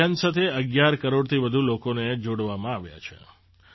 આ અભિયાન સાથે ૧૧ કરોડથી વધુ લોકોને જોડવામાં આવ્યા છે